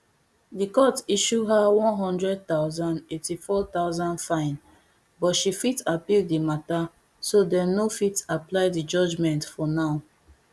di court issue her one hundred thousand eighty-four thousand fine but she fit appeal di matta so dem no fit apply di judgement for now